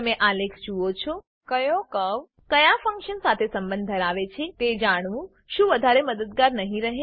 તમે આલેખ જુઓ છો કયો કર્વ ક્યાં ફંક્શન સાથે સંબંધ ધરાવે છે તે જાણવું શું વધારે મદદગર નહિ રહે160